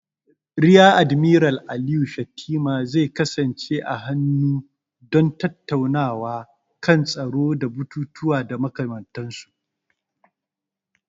Riya Admiral Aliyu Shettima zai kasance a hannu don tattaunawa kan tsaro da batutuwa da makamantansu.